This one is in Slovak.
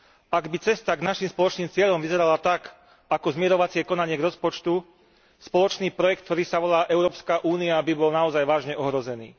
Ak by cesta k našim spoločným cieľom vyzerala tak, ako zmierovacie konanie k rozpočtu, spoločný projekt, ktorý sa volá Európska únia, by bol naozaj vážne ohrozený.